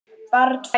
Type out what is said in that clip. Barn fæðist.